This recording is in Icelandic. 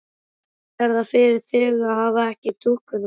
Hvernig er það fyrir þig að hafa ekki dúkkuna þína?